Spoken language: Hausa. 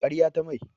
Karya ta mai.